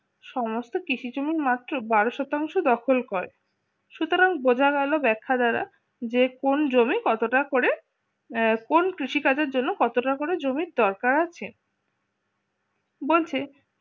সমস্ত কিসের জন্য মাত্র বারো শতাংশ দখল করে সুতরাং বোঝা গেল ব্যথা দ্বারা যে কোন জমি কতটা করে কোন কৃষিকাজের জন্য কত টাকা করে জমির দরকার আছে বলছে